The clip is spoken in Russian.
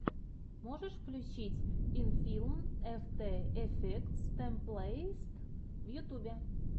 можешь включить инфилм эфтэ эфектс тэмплэйтс в ютубе